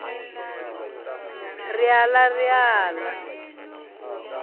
ri aḽa ri al a